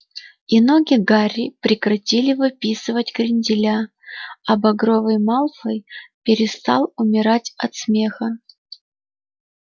и ноги гарри прекратили выписывать кренделя а багровый малфой перестал умирать от смеха